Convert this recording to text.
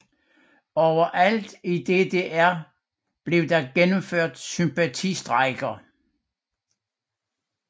Overalt i DDR blev der gennemført sympatistrejker